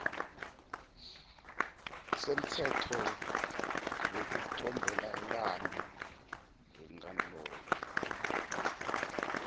semtsetfo wekucombelela wenkantolo